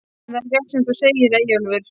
Það er rétt sem þú segir, Eyjólfur.